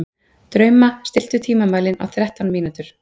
Drauma, stilltu tímamælinn á þrettán mínútur.